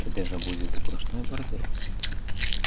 это же будет сплошной бордель